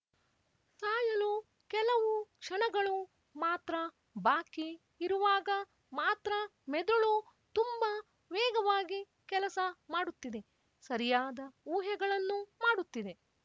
ಸಾಯಲು ಕೆಲವು ಕ್ಷಣಗಳು ಮಾತ್ರ ಬಾಕಿ ಇರುವಾಗ ಮಾತ್ರ ಮೆದುಳು ತುಂಬ ವೇಗವಾಗಿ ಕೆಲಸ ಮಾಡುತ್ತಿದೆ ಸರಿಯಾದ ಊಹೆಗಳನ್ನು ಮಾಡುತ್ತಿದೆ